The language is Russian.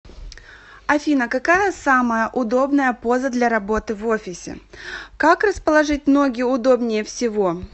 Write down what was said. афина какая самая удобная поза для работы в офисе как расположить ноги удобнее всего